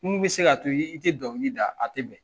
Mun bɛ se k'a to i te dɔnkili da, a tɛ bɛn.